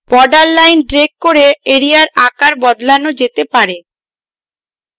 border line drag করে এরিয়ার আকার বদলানো যেতে পারে